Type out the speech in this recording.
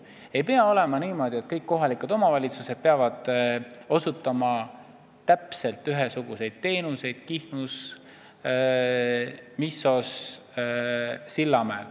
Ei pea olema niimoodi, et kõik kohalikud omavalitsused osutavad täpselt ühesuguseid teenuseid Kihnus, Missos ja Sillamäel.